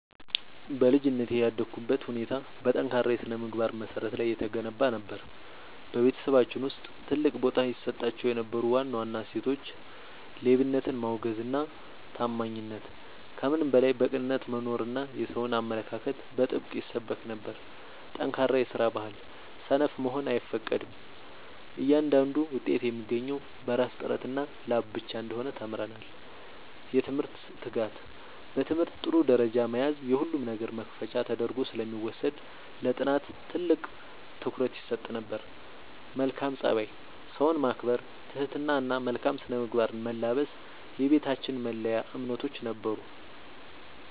በልጅነቴ ያደግኩበት ሁኔታ በጠንካራ የሥነ-ምግባር መሠረት ላይ የተገነባ ነበር። በቤተሰባችን ውስጥ ትልቅ ቦታ ይሰጣቸው የነበሩ ዋና ዋና እሴቶች፦ ሌብነትን ማውገዝና ታማኝነት፦ ከምንም በላይ በቅንነት መኖርና የሰውን አለመንካት በጥብቅ ይሰበክ ነበር። ጠንካራ የስራ ባህል፦ ሰነፍ መሆን አይፈቀድም፤ እያንዳንዱ ውጤት የሚገኘው በራስ ጥረትና ላብ ብቻ እንደሆነ ተምረናል። የትምህርት ትጋት፦ በትምህርት ጥሩ ደረጃ መያዝ የሁሉም ነገር መክፈቻ ተደርጎ ስለሚወሰድ ለጥናት ትልቅ ትኩረት ይሰጥ ነበር። መልካም ፀባይ፦ ሰውን ማክበር፣ ትህትና እና መልካም ስነ-ምግባርን መላበስ የቤታችን መለያ እምነቶች ነበሩ።